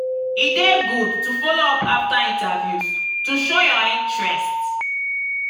e dey good to follow up after interviews to show your interest.